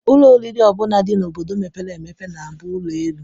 Ụlọ oriri ọ bụla dị n'obodo mepere emepe na-abụ ụlọelu